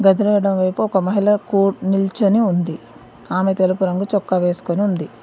ఎదురు ఎడమ వైపు ఒక మహిళ కో నిల్చొని ఉంది ఆమె తెలుపు రంగు చొక్కా వేసుకొని ఉంది.